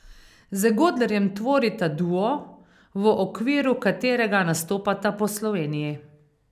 Z Godlerjem tvorita duo, v okviru katerega nastopata po Sloveniji.